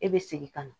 E bɛ segin ka na